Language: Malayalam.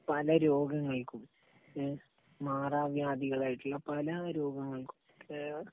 പല രോഗങ്ങൾക്കും എഹ് മാറാവ്യാധികളായിട്ടുള്ള പല രോഗങ്ങൾക്കും